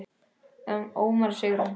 Ómar og Sigrún.